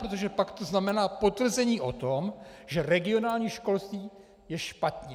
Protože pak to znamená potvrzení o tom, že regionální školství je špatně.